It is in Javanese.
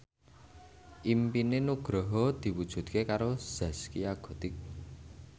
impine Nugroho diwujudke karo Zaskia Gotik